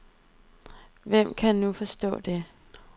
Hvem kan nu forstå det?